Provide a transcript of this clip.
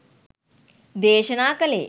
දේශනා කලේ.